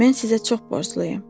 Mən sizə çox borcluyam.